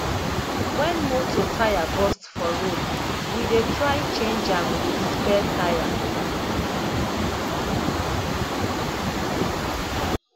wen motor tyre burst for road we dey try change am wit spare tyre